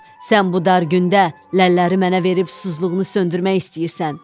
Sən bu dar gündə ləlləri mənə verib susuzluğunu söndürmək istəyirsən.